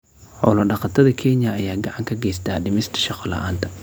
Xoolo-dhaqatada Kenya ayaa gacan ka geysta dhimista shaqo la'aanta.